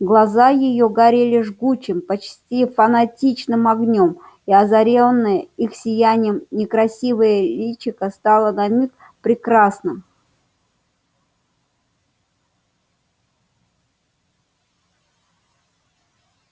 глаза её горели жгучим почти фанатичным огнём и озарённое их сиянием некрасивое личико стало на миг прекрасным